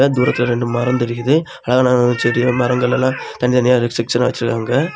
தூரத்துல ரெண்டு மரம் தெரியுது ஆனா செடிகள் மரங்கள் எல்லா தனித்தனியா செச்டின்னா வெச்சிருக்காங்க.